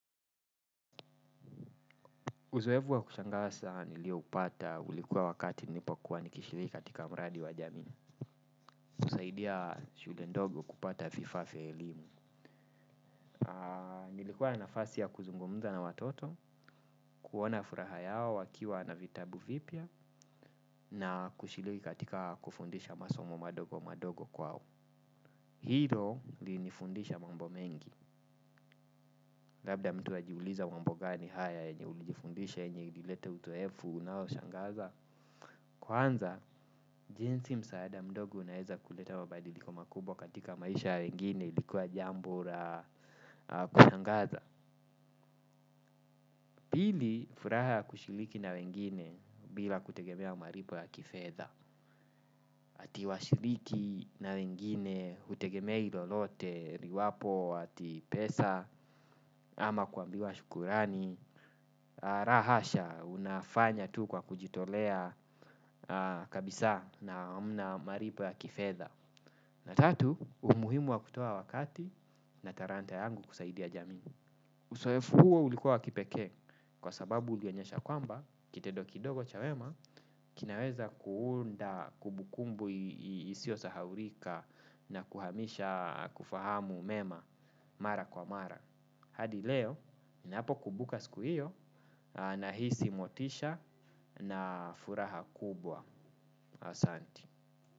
Uzoefu wa kushangaza nilio upata ulikuwa wakati nilipokuwa nikishiriki katika mradi wa jamii. Kusaidia shule ndogo kupata vifaa vya elimu. Nilikuwa na nafasi ya kuzungumza na watoto, kuona furaha yao wakiwa na vitabu vipya, na kushiriki katika kufundisha masomo madogo madogo kwao. Hilo lilinifundisha mambo mengi. Labda mtu anajiuliza mambo gani haya yenye ulijifundisha yenye ilileta uzoefu unaoshangaza. Kwanza, jinsi msaada mdogo unaeza kuleta mabadiliko makubwa katika maisha ya wengine ilikuwa jambo la kushangaza. Pili, furaha ya kushiriki na wengine bila kutegemea malipo ya kifedha ati washiriki na wengine, hutegemei lolote, liwapo, ati pesa, ama kuambiwa shukrani. La hasha, unafanya tu kwa kujitolea kabisa na hamna malipo ya kifedha. Na tatu, umuhimu wa kutoa wakati na talanta yangu kusaidia jamii. Uzoefu huo ulikuwa wa kipekee kwa sababu ulionyesha kwamba, kitendo kidogo cha wema, kinaweza kuunda kumbukumbu isio sahaulika na kuhamisha kufahamu mema mara kwa mara. Hadi leo, ninapokumbuka siku hiyo, nahisi motisha na furaha kubwa asante.